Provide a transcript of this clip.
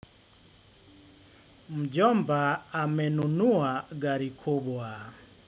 Mjomba amenunua gari kubwa.